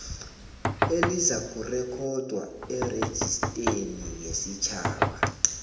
elizakurekhodwa erejisteni yesitjhaba